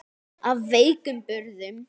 Af veikum burðum.